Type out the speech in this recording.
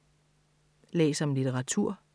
Læs om litteratur